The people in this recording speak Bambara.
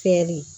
Fiyɛli